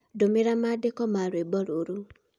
Ndũmĩra maandĩko ma rwĩmbo rũrũ